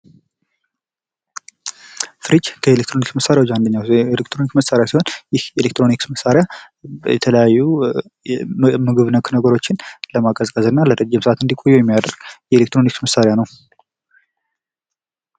ፍሪጅ ከኤሌክትሮኒክስ መሳሪያዎች መካከል አንደኛው ሲሆን ይህ የኤሌክትሮኒክስ መሳሪያ በተለያዩ ምግብ ነክ ነገሮችን ቀዝቀዝ እና ለረጅም ሰዓት እንዲቆዩ የሚያደርግ የኤሌክትሮኒክስ መሳሪያ ነው።